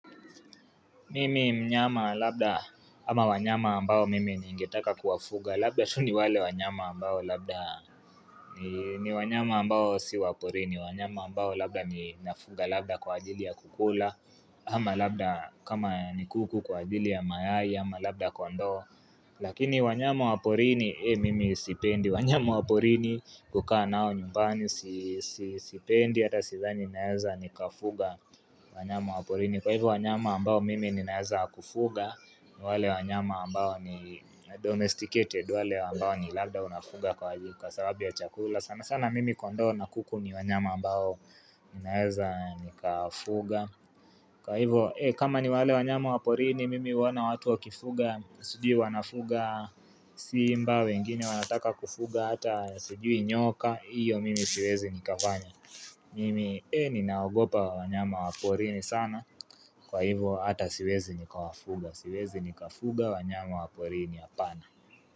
Mimi mnyama labda ama wanyama ambao mimi niingetaka kuwafuga labda tu ni wale wanyama ambao labda ni wanyama ambao si wa porini wanyama ambao labda ni nafuga labda kwa ajili ya kukula ama labda kama ni kuku kwa ajili ya mayai ama labda kwa ndo Lakini wanyama wa porini mimi sipendi wanyama wa porini kukaa nao nyumbani si sipendi hata sidhani naeza nikafuga wanyama wa porini kwa hivyo wanyama ambao mimi ninaeza kufuga wale wanyama ambao ni domesticated wale wanyama ambao ni labda unafuga kwa aji Kwa sababu ya chakula sana sana mimi kondoo na kuku ni wanyama ambao ninaeza nikafuga kwa hivo kama ni wale wanyama wa porini mimi huona watu wakifuga sijui wanafuga simba wengine wanataka kufuga hata suji nyoka iyo mimi siwezi nikafanya Mimi ninaogopa wanyama wa porini sana kwa hivyo ata siwezi nika wafuga, siwezi nikafuga wanyama wa porini apana.